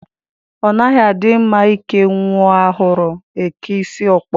Ọ naghị adị mma ike nyụọ ahụrụ, e kee isi ọkpọ